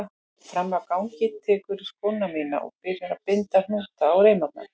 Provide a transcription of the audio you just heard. Frammi á gangi tekurðu skóna mína og byrjar að binda hnúta á reimarnar.